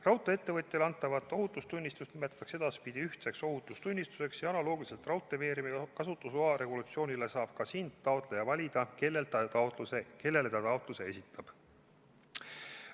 Raudtee-ettevõtjale antavat ohutustunnistust nimetatakse edaspidi ühtseks ohutustunnistuseks ja analoogiliselt raudteeveeremi kasutusloa regulatsiooniga saab ka siin taotleja valida, kellele ta taotluse esitab.